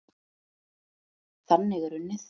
Þannig er unnið.